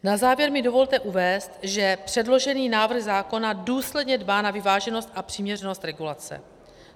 Na závěr mi dovolte uvést, že předložený návrh zákona důsledně dbá na vyváženost a přiměřenost regulace.